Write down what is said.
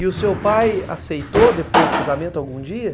E o seu pai aceitou depois do casamento algum dia?